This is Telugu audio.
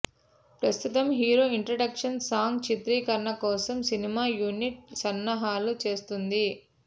ప్రస్తుతం హీరో ఇంట్రడక్షన్ సాంగ్ చిత్రీకరణ కోసం సినిమా యూనిట్ సన్నాహాలు చేస్తోంది